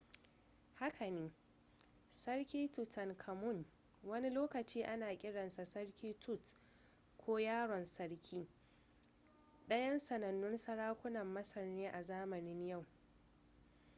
haka ne sarki tutankhamun wani lokaci ana kiransa sarki tut ko yaron sarki ɗayan sanannun sarakunan masar ne a zamanin yau